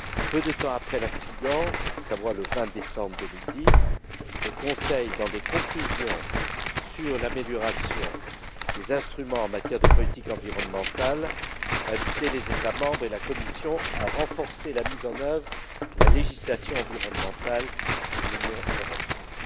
Peu de temps après l'accident, à savoir le 20 décembre 2010, le Conseil, dans des conclusions sur l'amélioration des instruments en matière de politique environnementale, invitait les États membres et la Commission à renforcer la mise en œuvre de la législation environnementale de l'Union européenne.